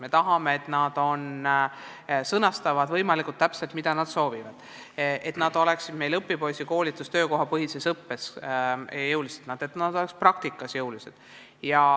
Me tahame, et nad sõnastaksid võimalikult täpselt, mida nad soovivad, et nad osaleksid jõuliselt õpipoisikoolituses ja töökohapõhises õppes, et nad tegeleksid jõuliselt praktikaga.